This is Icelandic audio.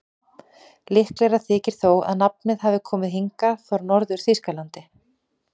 Líklegra þykir þó að nafnið hafi komið hingað frá Norður-Þýskalandi.